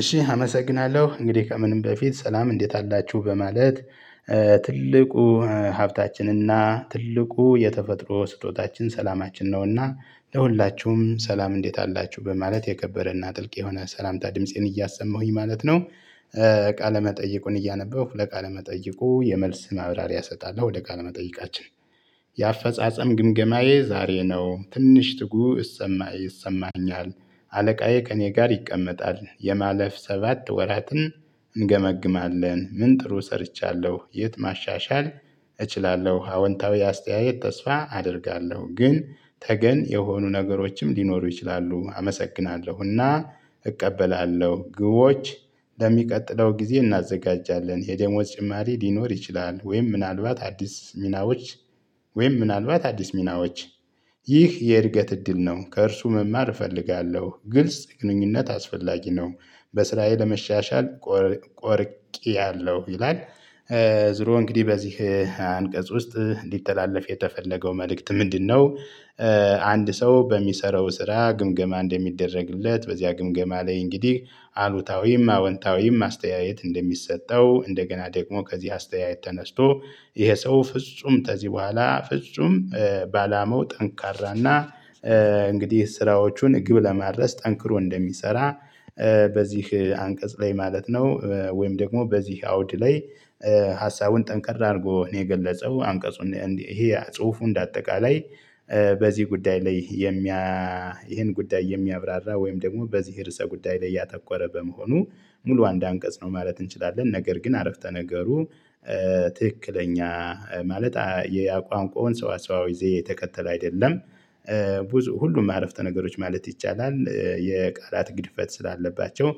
እሺ አመሰግናለሁ እንግዲህ ከምንም በፊት ሰላም እንዴት አላችሁ በማለት ትልቁ ሀብታችንና ትልቁ የተፈጥሮ ስጦታችን ሰላማችን ነውና ለሁላችሁም ሰላም እንዴት አላችሁ በማለት የከበረና ጥልቅ የሆነ ሰላምታ ድምፄን እያሰማሁኝ ማለት ነው። ቃለ መጠይቁን እያነበብሁ ለቃለ መጠይቁ የመልስ ማብራሪያ እሰጣለሁ ወደ ቃል መጠይቃችን። የአፈጻጸም ግምገማዬ ዛሬ ነው ትንሽ ጥጉ እሰማ ይሰማኛል። አለቃዬ ከእኔ ጋር ይቀመጣል የማለፍ ሰባት ወራትን እንገመግማለን ምን ጥሩ ሰርቻለሁ የት ማሻሻል? እችላለሁ አወንታዊ አስተያየት ተስፋ አደርጋለሁ። ግን ተገን የሆኑ ነገሮችም ሊኖሩ ይችላሉ። አመሰግናለሁና እቀበላለሁ። ግቦች ለሚቀጥለው ጊዜ እናዘጋጃለን። የደሞዝ ጭማሪ ሊኖር ይችላል። ወይም ምናልባት አዲስ ሚናዎች። ወይም ምናልባት አዲስ ሚናዎች። ይህ የእድገት እድል ነው ከእርሱ መማር እፈልጋለሁ። ግልጽ ግንኙነት አስፈላጊ ነው። በስራዬ ለመሻሻል ቆርጫያለሁ ይላል። ዙሮ እንግዲህ በዚህ አንቀጽ ውስጥ እንዲተላለፍ የተፈለገው መልእክት ምንድነው? አንድ ሰው በሚሰራው ስራ ግምገማ እንደሚደረግለት በዚያ ግምገማ ላይ እንግዲህ አሉታዊም አወንታዊም አስተያየት እንደሚሰጠው እንደገና ደግሞ ከዚህ አስተያየት ተነስቶ ይሄ ሰው ፍጹም ከዚህ በኋላ ፍጹም በአላማው ጠንካራና እንግዲህ ስራዎቹን ግብ ለማድረስ ጠንክሮ እንደሚሰራ። በዚህ አንቀጽ ላይ ማለት ነው ወይም ደግሞ በዚህ አውድ ላይ። ሀሳቡን ጠንቀር አድርጎ ነው የገለጸው። አንቀጹን ይሄ ጽሁፉ እንደ አጠቃላይ በዚህ ጉዳይ ላይ የሚያ። ይሄን ጉዳይ የሚያብራራ ወይም ደግሞ በዚህ ርዕሰ ጉዳይ ላይ ያተኮረ በመሆኑ ሙሉ አንድ አንቀጽ ነው ማለት እንችላለን። ነገር ግን አረፍተ ነገሩ ትክክለኛ ማለት የቋንቋውን ሰዋሰዋዊ ዘዬ የተከተል አይደለም። ሁሉም አረፍተ ነገሮች ማለት ይቻላል የቃላት ግድፈት ስላለባቸው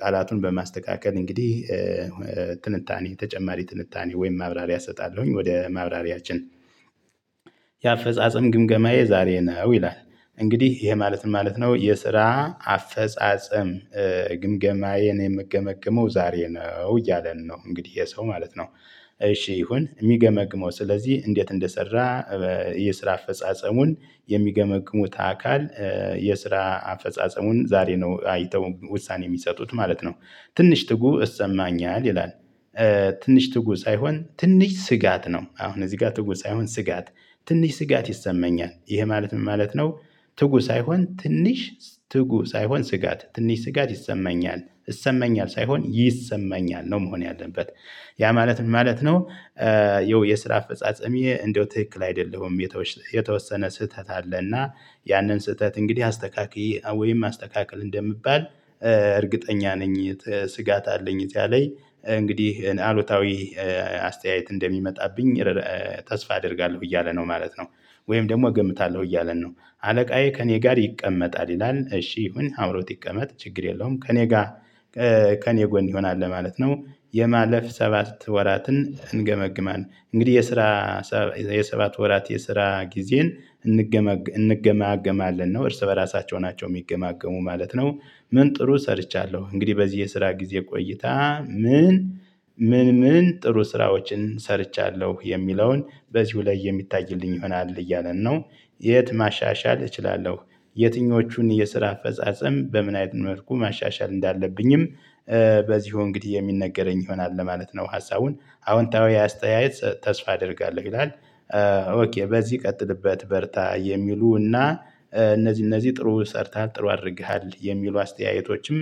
ቃላቱን በማስተካከል እንግዲህ ትንታኔ ተጨማሪ ትንታኔ ወይም ማብራሪያ እሰጣለሁኝ ወደ ማብራሪያችን። የአፈጻጸም ግምገማዬ ዛሬ ነው ይላል። እንግዲህ ይሄ ማለት ማለት ነው የስራ አፈጻጸም ግምገማዬን የምገመገመው ዛሬ ነው እያለን ነው እንግዲህ የሰው ማለት ነው። እሺ ይሁን የሚገመግመው ስለዚህ እንዴት እንደሰራ? የስራ አፈጻጸሙን የሚገመግሙት አካል የስራ አፈጻጸሙን ዛሬ ነው አይተው ውሳኔ የሚሰጡት ማለት ነው። ትንሽ ትጉ እሰማኛለሁ ይላል። ትንሽ ትጉ ሳይሆን ትንሽ ስጋት ነው አሁን እዚህ ጋር ትጉ ሳይሆን ስጋት። ትንሽ ስጋት ይሰመኛል ይህ ማለት ምን ማለት ነው? ትጉህ ሳይሆን ትንሽ ትጉህ ሳይሆን ስጋት ትንሽ ስጋት ይሰማኛል እሰማኛል ሳይሆን ይሰማኛል ነው መሆን ያለበት ያ ማለት ምን ማለት ነው? የው የስራ አፈጻጸሚ እንደው ትክክል አይደለሁም። የተወሰነ ስህተት አለ እና ያንን ስህተት እንግዲህ አስተካክዪ ወይም አስተካክል እንደምባል። እርግጠኛ ነኝ። ስጋት አለኝ እዚያ ላይ እንግዲህ አሉታዊ አስተያየት እንደሚመጣብኝ ተስፋ አደርጋለሁ እያለ ነው ማለት ነው። ወይም ደግሞ እገምታለሁ እያለን ነው። አለቃዬ ከእኔ ጋር ይቀመጣል ይላል እሺ ይሁን አብሮት ይቀመጥ ችግር የለውም ከእኔ ጋር። ከእኔ ጎን ይሆናል ለማለት ነው። የማለፍ ሰባት ወራትን እንገመግማለን እንግዲህ የስራ የሰባት ወራት የስራ ጊዜን እንገመግማለን ነው እርስ በራሳቸው ናቸው የሚገማገሙ ማለት ነው። ምን ጥሩ ሰርቻለሁ እንግዲህ በዚህ የስራ ጊዜ ቆይታ ምን ምን ምን ጥሩ ስራዎችን ሰርቻለሁ የሚለውን በዚሁ ላይ የሚታይልኝ ይሆናል እያለን ነው። የት ማሻሻል እችላለሁ? የትኞቹን የስራ አፈጻጸም በምን አይነት መልኩ ማሻሻል እንዳለብኝም በዚህ እንግዲህ የሚነገረኝ ይሆናል ለማለት ነው። ሀሳቡን አዎንታዊ አስተያየት ተስፋ አደርጋለሁ ይላል። ኦኬ በዚህ ቀጥልበት በርታ የሚሉና እና እነዚህ እነዚህ ጥሩ ሰርተሃል ጥሩ አድርገሃል የሚሉ አስተያየቶችም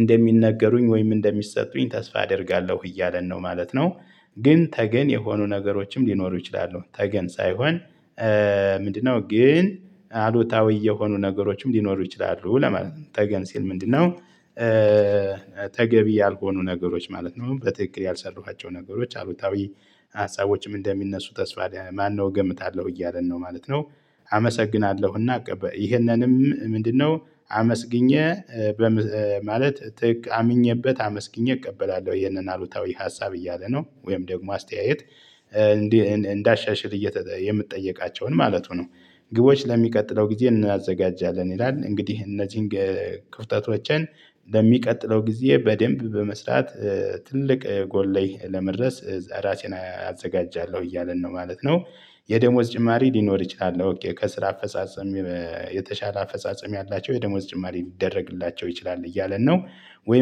እንደሚነገሩኝ ወይም እንደሚሰጡኝ ተስፋ አደርጋለሁ እያለን ነው ማለት ነው። ግን ተገን የሆኑ ነገሮችም ሊኖሩ ይችላሉ ተገን ሳይሆን ምንድነው? ግን አሉታዊ የሆኑ ነገሮችም ሊኖሩ ይችላሉ ለማለት ነው ተገን ሲል ምንድነው? ተገቢ ያልሆኑ ነገሮች ማለት ነው በትክክል ያልሰራኋቸው ነገሮች አሉታዊ ሀሳቦችም እንደሚነሱ ተስፋ ማነው እገምታለሁ እያለን ነው ማለት ነው። አመሰግናለሁ እና ቀበል ይህንንም ምንድነው? አመስግኜ ማለት ትክ አምኜበት አመስግኘህ እቀበላለሁ ይሄንን አሉታዊ ሀሳብ እያለ ነው ወይም ደግሞ አስተያየት እንዳሻሽል እየ የምጠየቃቸውን ማለቱ ነው። ግቦች ለሚቀጥለው ጊዜ እናዘጋጃለን ይላል። እንግዲህ እነዚህን ክፍተቶችን ለሚቀጥለው ጊዜ በደንብ በመስራት ትልቅ ጎል ላይ ለመድረስ ራሴን አዘጋጃለሁ እያለን ነው ማለት ነው። የደሞዝ ጭማሪ ሊኖር ይችላል ኦኬ ከስራ አፈጻጸም የተሻለ አፈጻጸም ያላቸው የደሞዝ ጭማሪ ሊደረግላቸው ይችላል እያለን ነው። ወይም